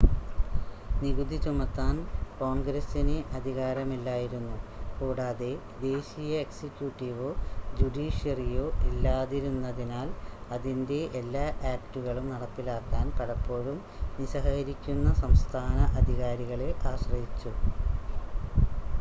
നികുതി ചുമത്താൻ കോൺഗ്രസിന് അധികാരമില്ലായിരുന്നു കൂടാതെ ദേശീയ എക്സിക്യൂട്ടീവോ ജുഡീഷ്യറിയോ ഇല്ലാതിരുന്നതിനാൽ അതിൻ്റെ എല്ലാ ആക്റ്റുകളും നടപ്പിലാക്കാൻ പലപ്പോഴും നിസ്സഹകരിക്കുന്ന സംസ്ഥാന അധികാരികളെ ആശ്രയിച്ചു